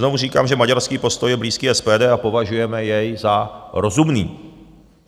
Znovu říkám, že maďarský postoj je blízký SPD a považujeme jej za rozumný.